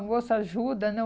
A moça ajuda, né?